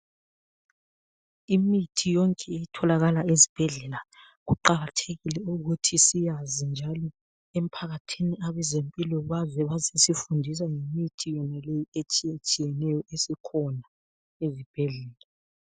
Imithi yonke etholakala ezibhedlela kuqakathekile ukuthi siyazi njalo emphakathini abezempilo baze bazesifundisa ngemithi etshiyetshiyeneyo esikhona ezibhedlela.